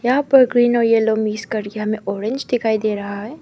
यहां पर ग्रीन और यलो मिक्स कर के हमे ऑरेंज दिखाई दे रहा है।